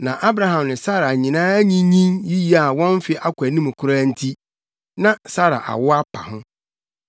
Na Abraham ne Sara nyinaa anyinyin yiye a wɔn mfe akɔ anim koraa nti, na Sara awo apa ho.